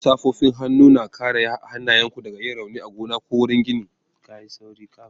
Hannun safofin hannu na kare hannayenku daga yin rauni a gona ko wurin gini